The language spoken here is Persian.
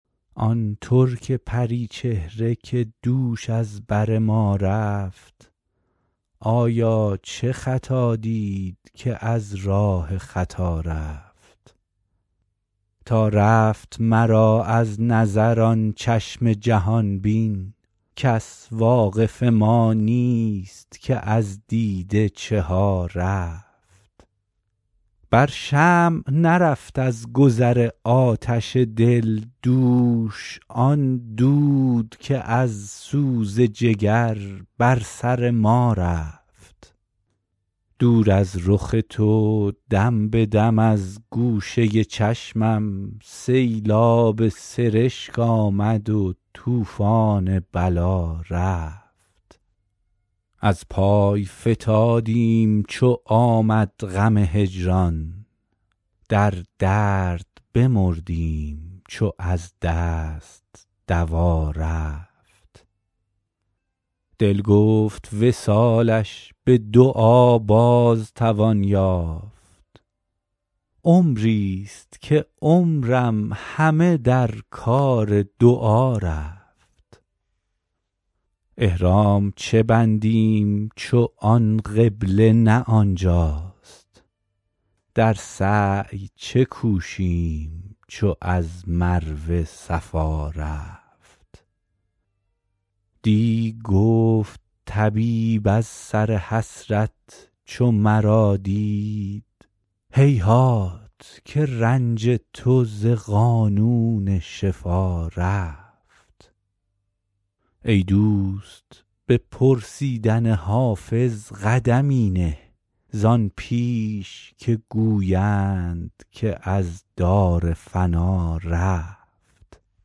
آن ترک پری چهره که دوش از بر ما رفت آیا چه خطا دید که از راه خطا رفت تا رفت مرا از نظر آن چشم جهان بین کس واقف ما نیست که از دیده چه ها رفت بر شمع نرفت از گذر آتش دل دوش آن دود که از سوز جگر بر سر ما رفت دور از رخ تو دم به دم از گوشه چشمم سیلاب سرشک آمد و طوفان بلا رفت از پای فتادیم چو آمد غم هجران در درد بمردیم چو از دست دوا رفت دل گفت وصالش به دعا باز توان یافت عمریست که عمرم همه در کار دعا رفت احرام چه بندیم چو آن قبله نه این جاست در سعی چه کوشیم چو از مروه صفا رفت دی گفت طبیب از سر حسرت چو مرا دید هیهات که رنج تو ز قانون شفا رفت ای دوست به پرسیدن حافظ قدمی نه زان پیش که گویند که از دار فنا رفت